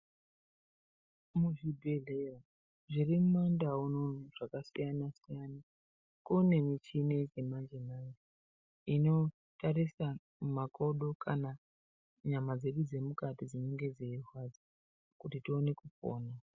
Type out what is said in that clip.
Muzvibhedhlera zviri mumandau unono zvakasiyana siyana kune michini yechimanje manje Initarisa makodo kana nyama dzedu dzemukati dzinenge dzeirwadza kuti tione kupona.